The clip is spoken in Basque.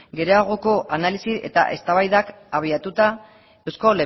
geroagoko analisi eta eztabaidak habiatuta eusko